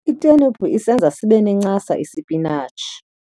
Itheniphu isenza sibe nencasa isipinatshi.